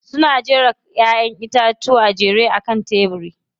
Suna jera Ƴaƴan itatuwa a kan tebiri.